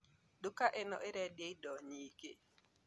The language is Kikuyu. Duka ino irendia indo nyingi